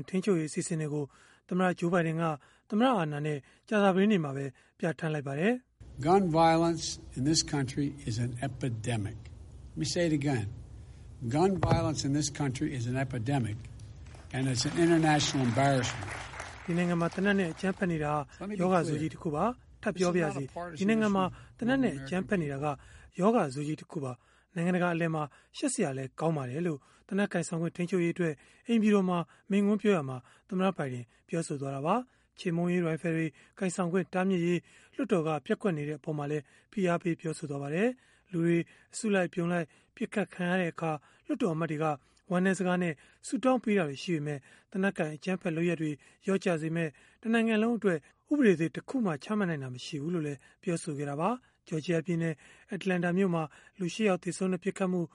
င့် ထိန်းချုပ်ရေး အစီအစဉ်တွေကို သမ္မတ Joe Biden က သမ္မတအာဏာနဲ့ ကြာသပတေးနေ့မှာပဲ ပြဌာန်းလိုက်ပါတယ်။ “ဒီနိုင်ငံမှာ သေနတ်နဲ့ အကြမ်းဖက်နေတာဟာ ရောဂါဆိုးကြီးတခုပါ။ ထပ်ပြောပါရစေ၊ ဒီနိုင်ငံမှာ သေနတ်နဲ့ အကြမ်းဖက်နေတာဟာ ရောဂါဆိုးကြီး တခုပါ၊ နိုင်ငံတကာ အလယ်မှာ ရှက်စရာလည်း ကောင်းပါတယ်။” လို့ သေနတ်ကိုင်ဆောင်ခွင့် ထိန်းချုပ်ရေးအတွက် အိမ်ဖြူတော်မှာ မိန့်ခွန်းပြောရာမှာ သမ္မတ ဘိုင်ဒင်က ပြောဆိုလိုက်တာပါ။ ချေမှုန်းရေးရိုင်ဖယ်တွေ ကိုင်ဆောင်ခွင့် တားမြစ်ရေး လွှတ်တော်က ပျက်ကွက်နေတဲ့ အပေါ်မှာလည်း ဖိအားပေး ပြောဆိုခဲ့ပါတယ်။ လူတွေ အစုလိုက်အပြုံလိုက် ပစ်ခတ်ခံရတဲ့အခါ လွှတ်တော်အမတ်တွေက ဝမ်းနည်းစကားနဲ့ ဆုတောင်းပေးတာတွေ ရှိပေမဲ့ သေနတ်ကိုင် အကြမ်းဖက်လုပ်ရပ်တွေ လျော့ကျစေမယ့် တနိုင်ငံလုံးအတွက် ဥပဒေသစ် တခုမှ ချမှတ်နိုင်တာ မရှိဘူးလို့လည်း ပြောဆိုခဲ့တာပါ။ Georgia ပြည်နယ်၊ Atlanta မြို့မှာ လူ ၈ ယောက် သေဆုံးတဲ့ ပစ်ခတ်မှု၊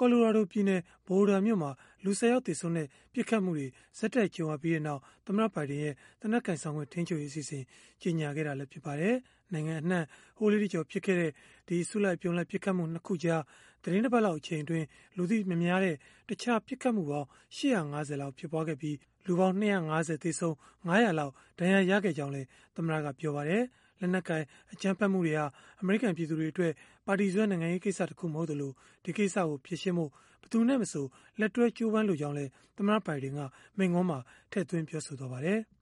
Colorado ပြည်နယ်၊ Boulder မြို့မှာ လူ ၁၀ ယောက် သေဆုံးတဲ့ ပစ်ခတ်မှုတွေ ဆက်တိုက် ကြုံခဲ့ရပြီးနောက် သမ္မတ Biden ရဲ့ သေနတ်ကိုင်ဆောင်ခွင့် ထိန်းချုပ်ရေး အစီအစဉ် ကြေညာခဲ့တာလည်း ဖြစ်ပါတယ်။ နိုင်ငံအနှံ့ ဟိုးလေးတကျော် ဖြစ်ခဲ့တဲ့ ဒီအစုလိုက်အပြုံလိုက် ပစ်ခတ်မှု ၂ ခုကြား သီတင်းတပတ်လောက် အချိန်အတွင်း လူသိမများတဲ့ တခြားပစ်ခတ်မှုပေါင်း ၈၅၀ ဖြစ်ပွားခဲ့ပြီး၊ လူပေါင်း ၂၅၀ သေဆုံး၊ ၅၀၀ လောက် ဒဏ်ရာရခဲ့ကြောင်းလည်း သမ္မတကပြောပါတယ်။ လက်နက်ကိုင် အကြမ်းဖက်မှုတွေဟာ အမေရိကန် ပြည်သူတွေအတွက် ပါတီစွဲ နိုင်ငံရေးကိစ္စတခု မဟုတ်သလို၊ ဒီကိစ္စကို ဖြေရှင်းဖို့ ဘယ်သူနဲ့မဆို လက်တွဲကြိုးပမ်းလိုကြောင်းလည်း သမ္မတ Biden က မိန့်ခွန်းမှာထည့်သွင်း ပြောဆိုသွားပါတယ်။